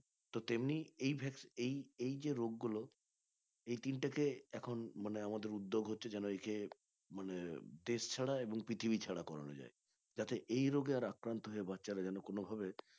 তো তেমনি এই এই এই যে রোগ গুলো এই তিনটাকে এখন মানে আমাদের উদ্যোগ হচ্ছে যেন একে মানে দেশ ছাড়া এবং পৃথিবী ছাড়া করানো যাই যাতে এই রোগে আর আক্রান্ত বাচ্চারা যেন কোনভাবে